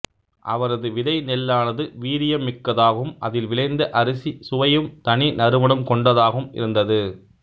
அவரது விதைநெல்லானது வீரியம் மிக்கதாகவும் அதில் விளைந்த அரிசி சுவையும் தனி நறுமணம் கொண்டதாகவும் இருந்தது